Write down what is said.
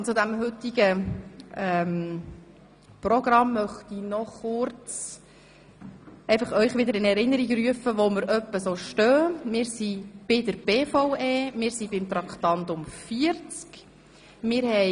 Nun zum heutigen Programm: Wir sind bei den Traktanden 37 und 38, die zu den Geschäften der BVE gehören, stehen geblieben.